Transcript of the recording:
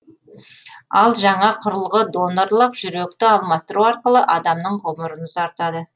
ал жаңа құрылғы донорлық жүректі алмастыру арқылы адамның ғұмырын ұзартады